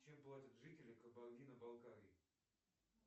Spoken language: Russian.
чем платят жители кабардино балкарии